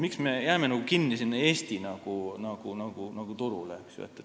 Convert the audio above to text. Miks me peaksime jääma kinni Eesti turule?